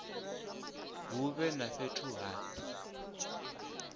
hu vhe na fhethu ha